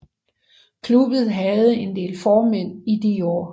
Klubben havde en del formænd i de år